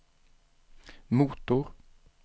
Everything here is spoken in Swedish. motor